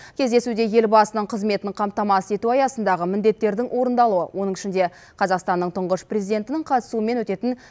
кездесуде елбасының қызметін қамтамасыз ету аясындағы міндеттердің орындалуы оның ішінде қазақстанның тұңғыш президентінің қатысуымен өтетін